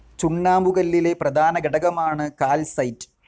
ചുണ്ണാമ്പുകല്ലിലെ പ്രധാന ഘടകമാണ് കാൽസൈറ്റ്.